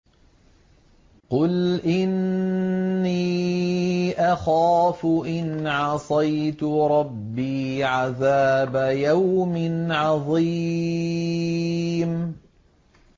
قُلْ إِنِّي أَخَافُ إِنْ عَصَيْتُ رَبِّي عَذَابَ يَوْمٍ عَظِيمٍ